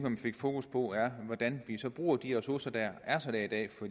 vi fik fokus på er hvordan vi bruger de ressourcer der er sat af for